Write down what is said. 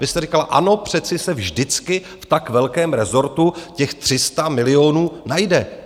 Vy jste říkala ano, přece se vždycky v tak velkém rezortu těch 300 milionů najde.